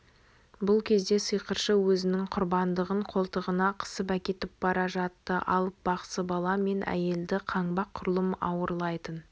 бұл кезде сиқыршы өзінің құрбандығын қолтығына қысып әкетіп бара жатты алып бақсы бала мен әйелді қаңбақ құрлым ауырлайтын